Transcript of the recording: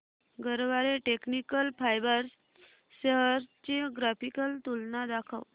Garware technical fibres shares ची graphical तुलना दाखव